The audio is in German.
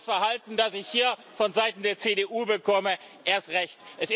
Und das Verhalten, das ich hier vonseiten der CDU bekomme, erst recht.